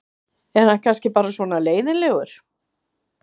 Er hann kannski bara svona leiðinlegur?